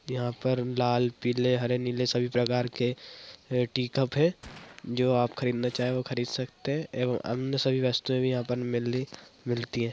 यहाँ पर लाल पीले हरे नीले सभी प्रकार के टी कप है जो आप खरीदना चाहें वो खरीद सकते हैं एवं अन्य सभी वस्तुएँ भी यहाँ पर मिली मिलती हैं।